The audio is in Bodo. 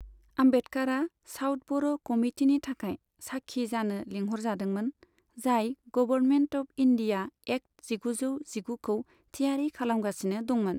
आम्बेडकारआ साउथब'र' कमितिनि थाखाय साखी जानो लिंहरजादोंमोन, जाय गबरमेन्ट अफ इन्दिया एक्त जिगुजौ जिगुखौ थियारि खालामगासिनो दंमोन।